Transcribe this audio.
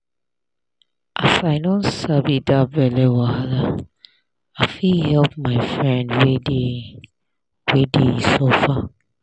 as i don sabi that belle wahala i fit help my friend wey dey wey dey suffer.